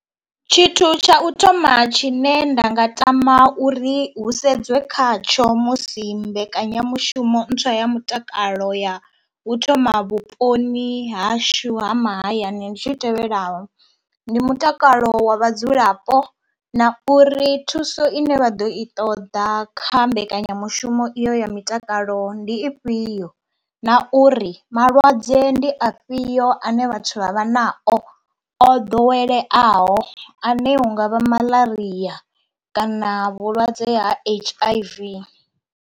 Tshithu tsha u thoma tshine nda nga tama uri hu sedzwe khatsho musi mbekanyamushumo ntswa ya mutakalo ya u thoma vhuponi hashu ha mahayani ndi tshi tevhelaho, ndi mutakalo wa vhadzulapo na uri thuso ine vha ḓo i ṱoḓa kha mbekanyamushumo iyo ya mitakalo ndi ifhio na uri malwadze vhulwadze ndi afhio ane vhathu vha vha nao o ḓoweleaho ane hungavha malaria kana vhulwadze ha H_I_V.